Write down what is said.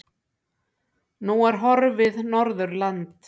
Nú er horfið Norðurland.